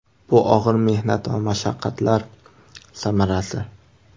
Bu og‘ir mehnat va mashaqqatlar samarasi.